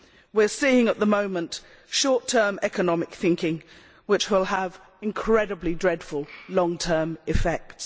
We are seeing at the moment short term economic thinking, which will have incredibly dreadful long term effects.